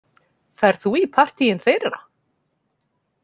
Ferð þú í partíin þeirra?